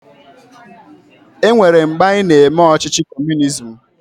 E nwere mgbe anyị na-eme ọchịchị kọọmunizim.